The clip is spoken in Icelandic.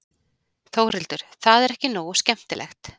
Þórhildur: Það er ekki nógu skemmtilegt?